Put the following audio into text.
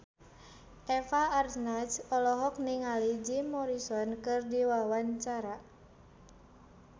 Eva Arnaz olohok ningali Jim Morrison keur diwawancara